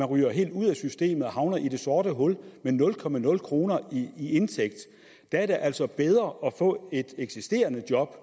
ryger helt ud af systemet og havner i det sorte hul med nul kroner i indtægt er det altså bedre at få et eksisterende job